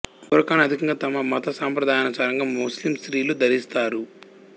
బురఖాను అధికంగా తమ మత సంప్రదాయానుసారం ముస్లిం స్త్రీలు ధరిస్తారు